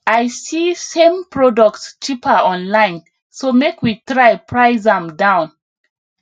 i see same product cheaper online so make we try price am down